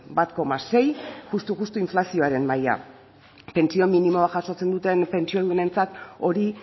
bat koma sei justu justu inflazioaren maila pentsio minimoa jasotzen duten pentsiodunentzat hori